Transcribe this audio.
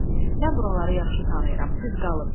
Mən buraları yaxşı tanıyıram, siz qalın.